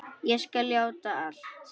Ég skal játa allt.